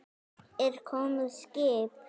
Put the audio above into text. Er komið skip?